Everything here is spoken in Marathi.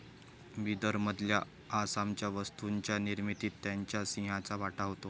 बिदरमधल्या असामान्य वस्तूंच्या निर्मितीत त्यांच्या सिंहाचा वाटा होता